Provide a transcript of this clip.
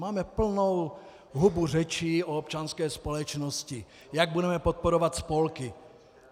Máme plnou hubu řečí o občanské společnosti, jak budeme podporovat spolky.